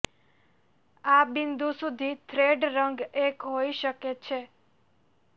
આ બિંદુ સુધી થ્રેડ રંગ એક હોઈ શકે છે